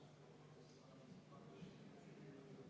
jätnud arvestamata.